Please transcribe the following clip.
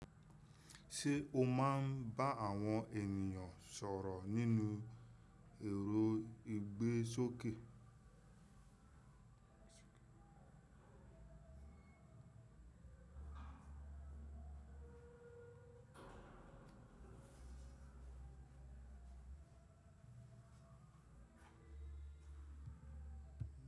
Se o maa n ba awon eniyan soro ninu eeo igbesoke.